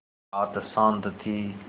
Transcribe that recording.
रात शान्त थी